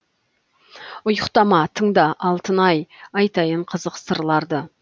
ұйықтама тыңда алтын ай айтайын қызық сырларды